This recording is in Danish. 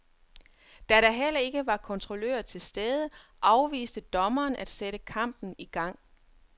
Da der heller ikke var kontrollører til stede, afviste dommeren at sætte kampen i gang.